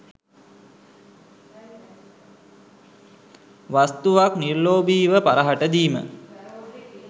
වස්තුවක් නිර්ලෝභීව පරහට දීම